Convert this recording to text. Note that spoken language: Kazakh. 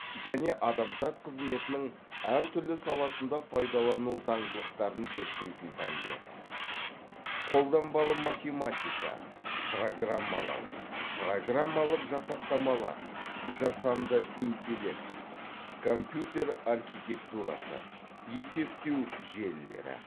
және адамзат қызметінің әр түрлі саласында пайдаланылу заңдылықтарын зерттейтін пәндер қолданбалы математика программалау программалық жасақтамалар жасанды интеллект компьютер архитектурасы есептеу желілері